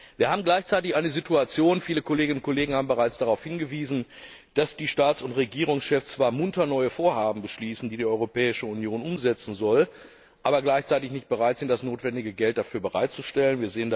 Wir haben gleichzeitig eine Situation viele Kolleginnen und Kollegen haben bereits darauf hingewiesen dass die Staats und Regierungschefs zwar munter neue Vorhaben beschließen, die die Europäische Union umsetzen soll, aber gleichzeitig nicht bereit sind, das notwendige Geld dafür bereitzustellen.